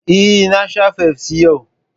Eh, na sha fafsi yau